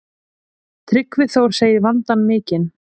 Tryggvi Þór segir vandann mikinn.